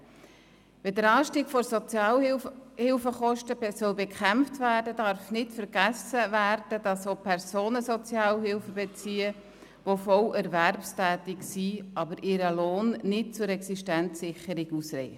Wenn der Anstieg der Sozialhilfekosten bekämpft werden soll, darf nicht vergessen werden, dass auch Personen Sozialhilfe beziehen, die voll erwerbstätig sind, deren Lohn aber nicht zur Existenzsicherung ausreicht.